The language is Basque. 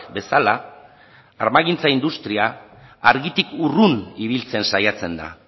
bezala armagintza industria argitik urrun ibiltzen saiatzen da